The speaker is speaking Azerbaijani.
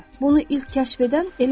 Bunu ilk kəşf edən elə odur.